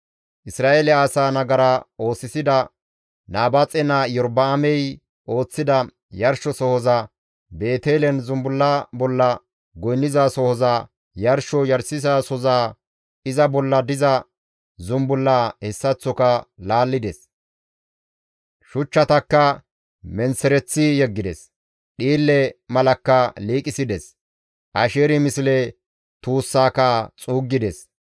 Isra7eele asaa nagara oosisida Nabaaxe naa Iyorba7aamey ooththida yarshosohoza, Beetelen zumbulla bolla goynnizasohoza, yarsho yarshizasohoza iza bolla diza zumbullaa hessaththoka laallides; shuchchatakka menththereththi yeggides; dhiille malakka liiqisides; Asheeri misle tuussaaka xuuggides.